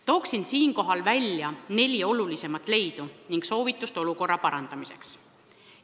Toon siinkohal välja neli olulisimat leidu ja soovitust olukorra parandamiseks.